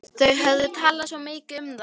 Þau höfðu talað svo mikið um það.